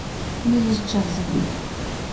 мы из джаза